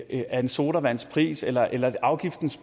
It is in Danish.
af en sodavands pris eller eller afgiftens